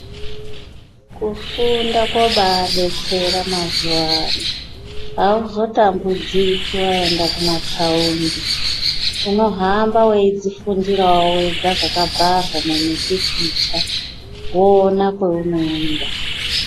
Kufunda kobabetsera mazuwano hauzotambudziki waenda kuma thaundi unohamba weizvifundirawo wega zvakabharwa mumipikicha woona kweunoenda.